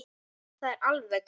Það er alveg klárt.